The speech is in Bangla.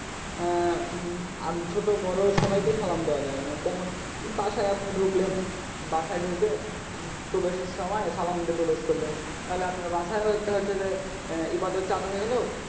উম ছোট বড়ো সবাইকে সালাম দেওয়া যায় যেমন বাসায় আপনি ঢুকলেন বাসায় ঢুকে প্রবেশের সময় সালাম দিয়ে প্রবেশ করলেন তাহলে আপনার বাসায়েও একটা হচ্ছে যে ইবাদত চালু হয়ে গেল,